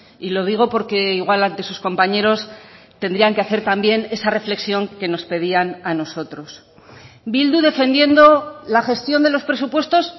y lo digo porque igual ante sus compañeros tendrían que hacer también esa reflexión que nos pedían a nosotros bildu defendiendo la gestión de los presupuestos